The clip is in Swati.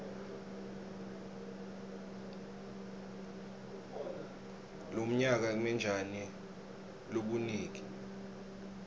lomnyaka kmetjani lobunigi